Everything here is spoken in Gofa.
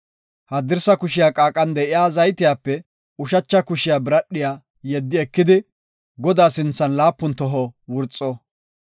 Haddirsa kushiya qaaqan de7iya zaytiyape ushacha kushiya biradhiya yeddi ekidi, Godaa sinthan laapun toho wurxo.